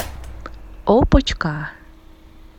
опочка